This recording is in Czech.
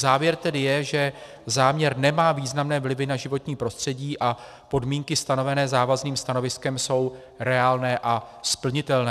Závěr tedy je, že záměr nemá významné vlivy na životní prostředí a podmínky stanovené závazným stanoviskem jsou reálné a splnitelné.